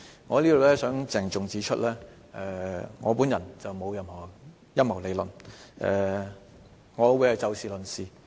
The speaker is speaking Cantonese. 我想在此鄭重指出，我並無任何陰謀理論，我會以事論事。